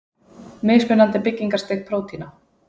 Mismunandi byggingarstig prótína.